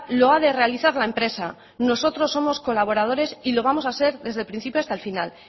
lo ha de realizar la empresa nosotros somos colaboradores y lo vamos a ser desde el principio hasta el final